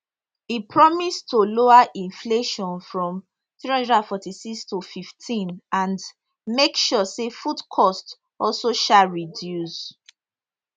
e promise to lower inflation from 346 to 15 and make sure say food cost also um reduce